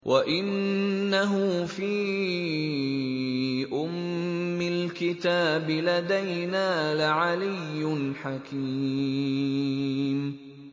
وَإِنَّهُ فِي أُمِّ الْكِتَابِ لَدَيْنَا لَعَلِيٌّ حَكِيمٌ